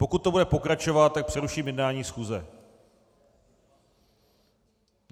Pokud to bude pokračovat, tak přeruším jednání schůze.